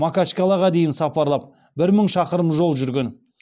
макачкалаға дейін сапарлап бір мың шақырым жол жүрген